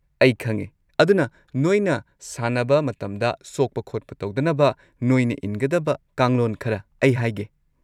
ꯑꯩ ꯈꯪꯉꯦ, ꯑꯗꯨꯅ ꯅꯣꯏꯅ ꯁꯥꯟꯅꯕ ꯃꯇꯝꯗ ꯁꯣꯛꯄ ꯈꯣꯠꯄ ꯇꯧꯗꯅꯕ ꯅꯣꯏꯅ ꯏꯟꯒꯗꯕ ꯀꯥꯡꯂꯣꯟ ꯈꯔ ꯑꯩ ꯍꯥꯏꯒꯦ꯫